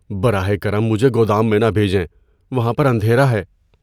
براہ کرم مجھے گودام میں نہ بھیجیں۔ وہاں پر اندھیرا ہے۔